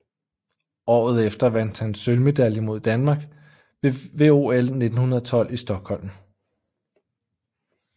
Året efter vandt han sølvmedalje med Danmark ved OL 1912 i Stockholm